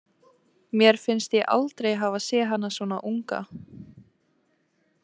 Mér finnst ég aldrei hafa séð hana svona unga.